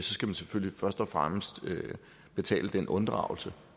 skal man selvfølgelig først og fremmest betale den unddragelse